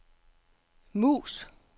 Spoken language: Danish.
mus